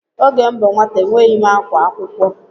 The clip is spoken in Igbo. Oge m bụ nwata enweghị akwa akwụkwọ.